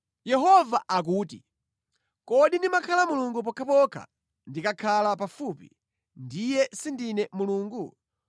Yehova akuti, “Kodi ndimakhala Mulungu pokhapokha ndikakhala pafupi, ndiye sindine Mulungu?